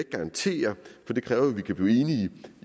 garantere for det kræver at vi kan blive enige